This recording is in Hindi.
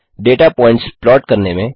डेटा पॉइंट्स प्लाट करने में